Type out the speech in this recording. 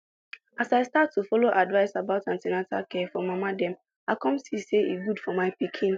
as i start to follow advice about an ten atal care for mama dem i come see say e good for my pikin